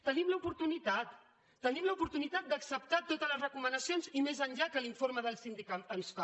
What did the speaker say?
tenim l’oportunitat tenim l’oportunitat d’acceptar totes les recomanacions i més enllà que l’informe del síndic ens fa